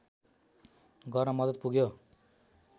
गर्न मद्दत पुग्यो